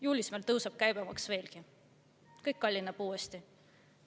Juulis tõuseb meil käibemaks veelgi, kõik kallineb uuesti.